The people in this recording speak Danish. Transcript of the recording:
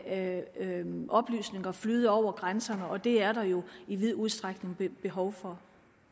oplysninger flyde over grænserne og det er der jo i vid udstrækning behov for